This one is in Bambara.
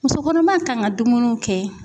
Muso kɔnɔma kan ka dumuniw kɛ.